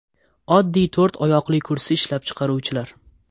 Oddiy to‘rt oyoqli kursi ishlab chiqaruvchilar.